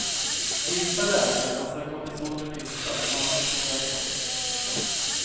Vissa läkare anser att kortison gör nytta, medan andra tycker tvärtom.